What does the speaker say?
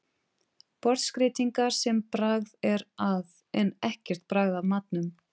Borðskreytingar sem bragð er að en ekkert bragð af matnum.